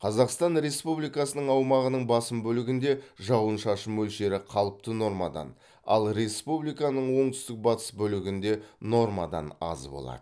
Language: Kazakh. қазақстан республикасының аумағының басым бөлігінде жауын шашын мөлшері қалыпты нормадан ал республиканың оңтүстік батыс бөлігінде нормадан аз болады